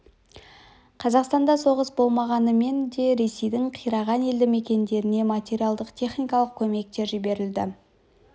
қазақстанда соғыс болмағанымен де ресейдің қираған елді мекендеріне материалдық техникалық көмектер жіберілді